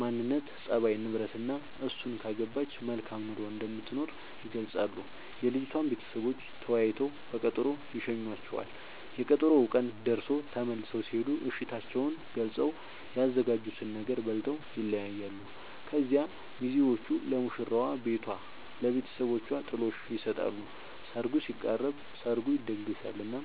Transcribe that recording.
ማንነት፣ ፀባይ፤ ንብረትናእሱን ካገባች መልካም ኑሮ እንደምትኖር ይገልጻሉ። የልጅቷም ቤተሰቦች ተወያይተው በቀጠሮ ይሸኙዋቸዋል፤ የቀጠሮው ቀን ደርሶ ተመልሰው ሲሄዱ እሽታቸውን ገልፀው፤ ያዘጋጁትን ነገር በልተው ይለያያሉ። ከዚያ ሚዜዎቹ ለሙሽራዋ ቤቷ ለብተሰቦቿ ጥሎሽ ይሰጣሉ ሰርጉ ሲቃረብ፤ ሰርጉ ይደገሳል እናም